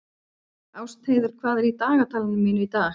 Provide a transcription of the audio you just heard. Ástheiður, hvað er í dagatalinu mínu í dag?